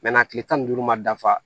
kile tan ni duuru ma dafa